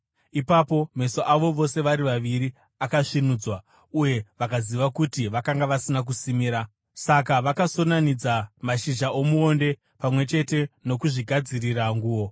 Ipapo meso avo vose vari vaviri akasvinudzwa, uye vakaziva kuti vakanga vasina kusimira; saka vakasonanidza mashizha omuonde pamwe chete ndokuzvigadzirira nguo.